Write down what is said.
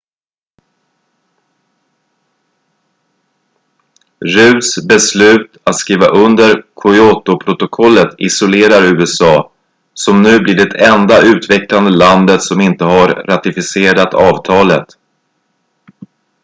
rudds beslut att skriva under kyotoprotokollet isolerar usa som nu blir det enda utvecklade landet som inte har ratificerat avtalet